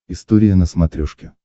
история на смотрешке